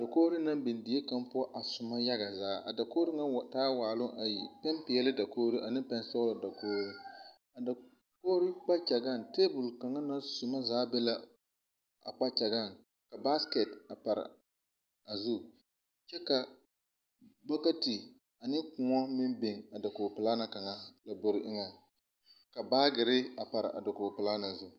Dakoɔre na biŋ die kanga poʊ a suma yaga zaa. A dakoɔre ŋa wa taa la waalu ayi. Pɛn piɛle dakoɔre ane pɛn sɔglɔ dakoɔre. A dakoɔre kpakyagaŋ, tabul kanga na suma zaa be la a kpakyagaŋ. Ka baaskɛt a pare a zu. Kyɛ ka bɔkɛti ane koɔ meŋ biŋ a dakoɔ pulaa ne kanga lambɔre eŋɛŋ. Ka baagireva pare a dakoɔ pulaa na zu